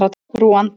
Rúanda